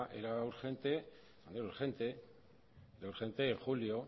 era urgente era urgente en julio